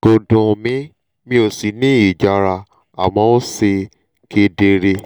kò dùn mí mi ò sì ní ìjara àmọ́ ó ṣe kedere